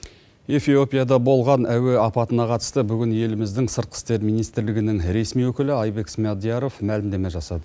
эфиопияда болған әуе апатына қатысты бүгін еліміздің сыртқы істер министрлігінің ресми өкілі айбек смадияров мәлімдеме жасады